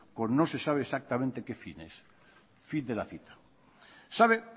con no se sabe exactamente qué fines fin de la cita sabe